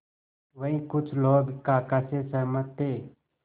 वहीं कुछ लोग काका से सहमत थे